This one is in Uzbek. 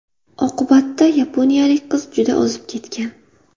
Oqibatda yaponiyalik qiz juda ozib ketgan.